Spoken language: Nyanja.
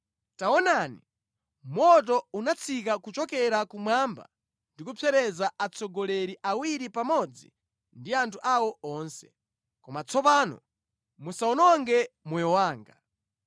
Taonani, moto unatsika kuchokera kumwamba ndi kupsereza atsogoleri awiri pamodzi ndi anthu awo onse. Koma tsopano musawononge moyo wanga!”